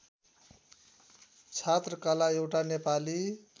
छात्रकला एउटा नेपाली